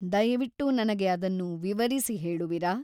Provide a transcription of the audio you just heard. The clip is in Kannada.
ದಯವಿಟ್ಟು ನನಗೆ ಅದನ್ನು ವಿವರಿಸಿ ಹೇಳುವಿರಾ ?